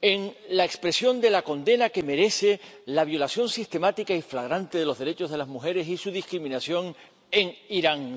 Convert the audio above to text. en la expresión de la condena que merece la violación sistemática y flagrante de los derechos de las mujeres y su discriminación en Irán.